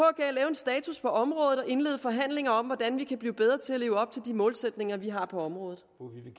status på området og indlede forhandlinger om hvordan vi kan blive bedre til at leve op til de målsætninger vi har på området